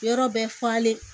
Yɔrɔ bɛ falen